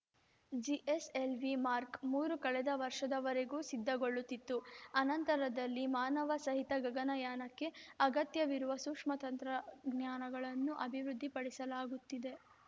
GSLV mark ಮೂರು ಕಳೆದ ವರ್ಷದವರೆಗೂ ಸಿದ್ಧಗೊಳ್ಳುತ್ತಿತ್ತು ಅನಂತರದಲ್ಲಿ ಮಾನವಸಹಿತ ಗಗನಯಾನಕ್ಕೆ ಅಗತ್ಯವಿರುವ ಸೂಕ್ಷ್ಮ ತಂತ್ರಜ್ಞಾನಗಳನ್ನು ಅಭಿವೃದ್ಧಿಪಡಿಸಲಾಗುತ್ತಿದೆ